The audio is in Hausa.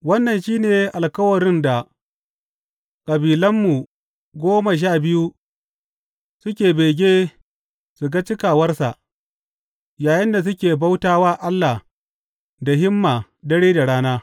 Wannan shi ne alkawarin da kabilanmu goma sha biyu suke bege su ga cikawarsa, yayinda suke bauta wa Allah da himma dare da rana.